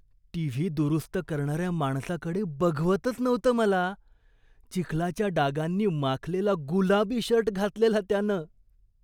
TV दुरुस्त करणाऱ्या माणसाकडे बघवतच नव्हतं मला. चिखलाच्या डागांनी माखलेला गुलाबी शर्ट घातलेला त्यानं.